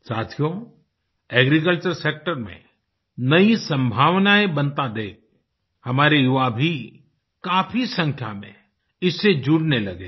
साथियो agriculture sector में नई सम्भावनाएँ बनता देख हमारे युवा भी काफी संख्या में इससे जुड़ने लगे हैं